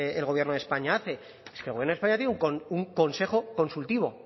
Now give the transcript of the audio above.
el gobierno de españa hace es que el gobierno de españa tiene un consejo consultivo